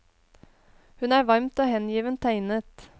Hun er varmt og hengivent tegnet.